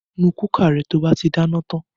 Nu kúkà rẹ to bá ti dáná tan!